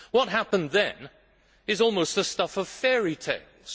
What happened then is almost the stuff of fairy tales.